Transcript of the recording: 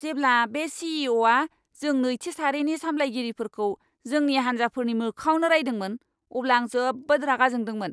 जेब्ला बे सी.इ.अ'.आ जों नैथि सारिनि साम्लायगिरिफोरखौ जोंनि हान्जाफोरनि मोखाङावनो रायदोंमोन, अब्ला आं जोबोद रागा जोंदोंमोन!